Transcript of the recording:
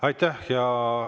Aitäh!